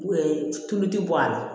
tulu ti bɔ a la